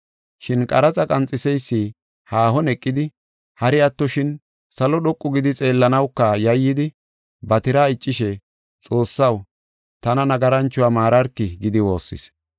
“Shin qaraxa qanxiseysi haahon eqidi hari attoshin salo dhoqu gidi xeellanawka yayyidi ba tiraa iccishe ‘Xoossaw, tana nagaranchuwa maararki’ gidi woossis.